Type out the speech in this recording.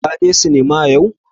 Ka je sinima yau?